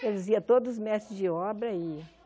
Eles iam, todos os mestres de obra e.